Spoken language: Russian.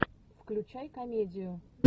включай комедию